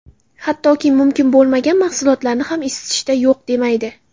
Hattoki, mumkin bo‘lmagan mahsulotlarni ham isitishda yo‘q demaydi.